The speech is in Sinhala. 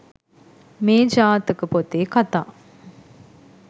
මේ ජාතක පොතේ කථා